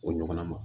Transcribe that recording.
O ɲɔgɔnna ma